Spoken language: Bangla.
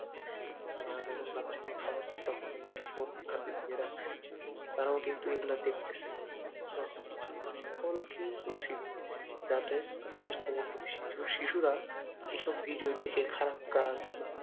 আর যখন বাচ্চাকে খাওয়াচ্ছে তখনও কিন্তু ফোন হাতে নিয়ে রাখছে তারাও কিন্তু এগুলো দেখতে চায় সো সকলকেই বলছি যাতে শিশুরা এসব ভিডিও দেখে খারাপ কাজ বা